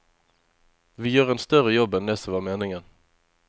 Vi gjør en større jobb enn det som var meningen.